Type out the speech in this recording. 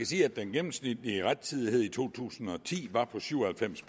sige at den gennemsnitlige rettidighed i to tusind og ti var på syv og halvfems